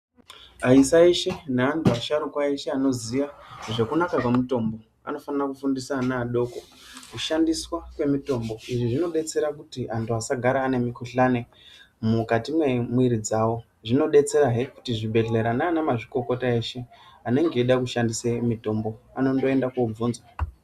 Aisa eshe neantu asharukwa esheanoziya zvekunaka kwemutombo, anofana kufundisa ana adoko kushandiswa kwemitombo, izvi zvinodetsera kuti antu asagare ane mikhuhlane mukati memwiri dzawo. Zvinodetserahe kuti zvibhedhlera nanamazvikokota eshe anenge eida kushandisa mitombo anondoenda kobvunza.